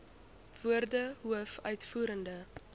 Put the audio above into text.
woorde hoof uitvoerende